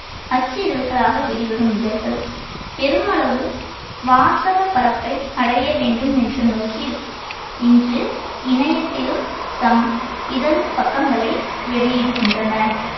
அச்சு இதழ்களாக வெளிவரும் இதழ்கள் பெருமளவு வாசகப்பரப்பை அடைய வேண்டும் என்ற நோக்கில் இன்று இணையத்திலும் தம் இதழ் பக்கங்களை வெளியிடுகின்றன.